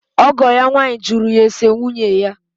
ọgọ ya nwaanyị jụrụ ya ese nwunye ya.